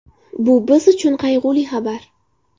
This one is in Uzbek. Bu biz uchun qayg‘uli xabar.